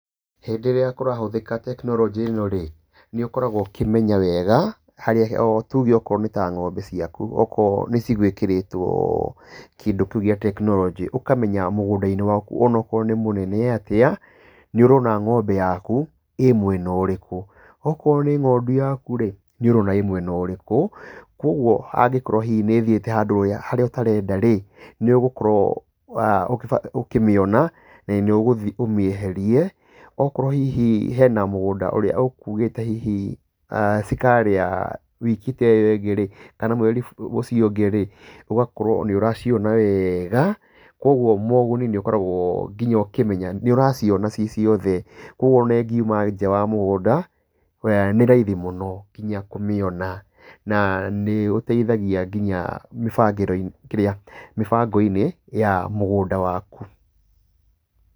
Hĩndĩ ĩria kũrahũthika tekinoronjĩ ĩno rĩ, nĩ ũkoragwo ũkĩmenya wega harĩa tuge okorwo nĩ ta ng'ombe ciaku okorwo nĩ cigwikiritwo kiũndũ kĩu gia tekinoronjĩ, ũkamenya mũgũnda-inĩ waku onokorwo nĩ mũnene atĩa, nĩ ũrona ng'ombe yaku ĩ mwena ũrĩkũ. Okorwo nĩ ng'ondu yaku rĩ, nĩ ũrona ĩ mwena ũrĩkũ. Koguo angĩkorwo hihi nĩ ĩthiĩte handũ harĩa ũtarenda rĩ, nĩ ũgũkorwo ũkĩmĩona na nĩ ũgũthiĩ ũmĩeherie. Okorwo hihi hena mũgũnda ũrĩa ũkugĩte hihi cikarĩa wiki ta ĩyo ĩngĩ, kana mweri ta ũcio ũngĩ, ũgakorwo nĩ ũraciona wega. Koguo moguni nginya nĩ ũkoragwo ũkimenya nĩ ũraciona ci ciothe, ũguo ona ingiuma nja wa mũgũnda, nĩ raithi mũno nginya kũmĩona. Na nĩ ũteithagia nginya kĩrĩa, mĩbango-inĩ ya mũgũnda waku.